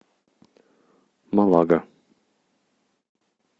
малага